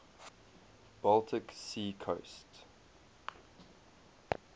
baltic sea coast